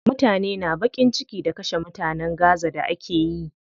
Mutane na baƙin ciki da kashe mutanen gaza da akeyi.